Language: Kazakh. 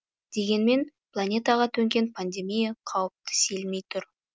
дегенмен планетаға төнген пандемия қаупті сейілмей тұр